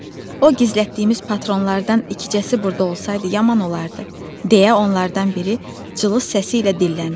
O gizlətdiyimiz patronlardan ikicəsi burda olsaydı yaman olardı, - deyə onlardan biri cılız səsi ilə dilləndi.